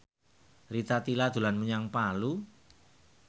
Rita Tila dolan menyang Palu